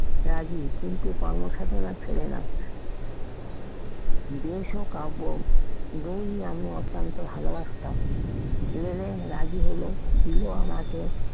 রাগি কিন্তু কর্মসাধনা ছেড়ে না যে সুখ কাব্য বই আমি অত্যন্ত ভালোবাসাতাম লেলেন রাগি হলেও দিলো আমাকে